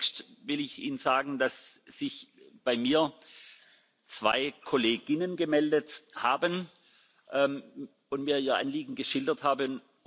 Zunächst will ich Ihnen sagen, dass sich bei mir zwei Kolleginnen gemeldet und mir ihr Anliegen geschildert haben.